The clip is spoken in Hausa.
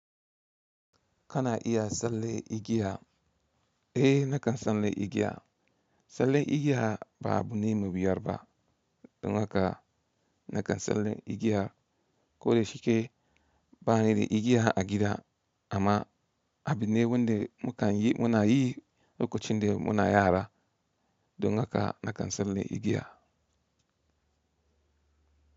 Kana iya tsalle igiya? Eh, nakan tsalle igiya. Tsallen igiya ba abune mai wuyar ba. Don haka nakan tsallen igiya. Ko da shike ba ni da igiya a gida amma abine wanda mukan yi, muna yi lokacin da muna yara. Don haka nakan tsalle igiya.